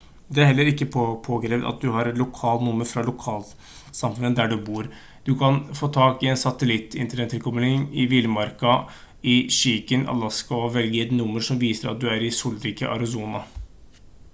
det er heller ikke påkrevd at du har et lokalt nummer fra lokalsamfunnet der du bor du kan få tak i en satellitt-internettilkobling i villmarka i chicken alaska og velge et nummer som viser at du er i solrike arizona